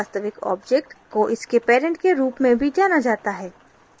वास्तविक object को इसके parent के रूप में भी जाना जाता है